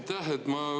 Aitäh!